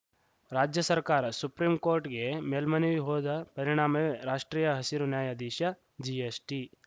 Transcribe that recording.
ರಾಜ್ಯ ಸರ್ಕಾರ ಸುಪ್ರೀಂಕೋರ್ಟ್‌ಗೆ ಮೇಲ್ಮನವಿ ಹೋದ ಪರಿಣಾಮವೇ ರಾಷ್ಟ್ರೀಯ ಹಸಿರು ನ್ಯಾಯಾಧಿಷ ಜಿಎಸ್ಟಿ